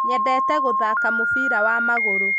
nyendete gũthaka mũbira wa magũrũ